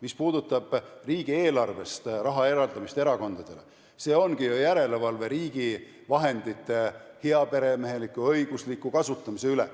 Mis puudutab riigieelarvest raha eraldamist erakondadele, siis see ongi ju järelevalve riigi vahendite heaperemeheliku ja õigusliku kasutamise üle.